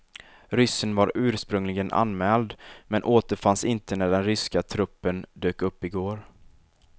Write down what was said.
Ryssen var ursprungligen anmäld men återfanns inte när den ryska truppen dök upp igår.